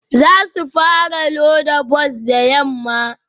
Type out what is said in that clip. Za su fara loda bas da yamma